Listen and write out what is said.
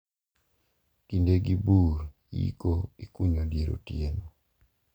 Kindegi bur iko ikunyo dier otieno.